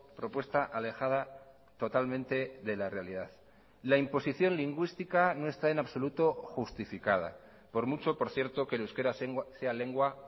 propuesta alejada totalmente de la realidad la imposición lingüística no está en absoluto justificada por mucho por cierto que el euskara sea lengua